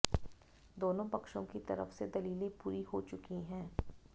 दोनों पक्षों की तरफ से दलीलें पूरी हो चुकी हैं